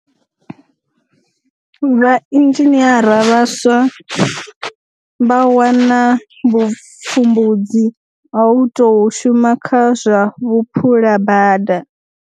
Vhainzhiniara vhaswa vha wana vhupfumbudzi ha u tou shuma kha zwa vhuphulabada.